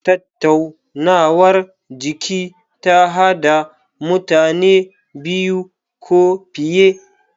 Tattaunawar jiki ta hada mutane biyu ko fiye.